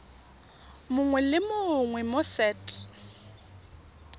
mongwe le mongwe mo set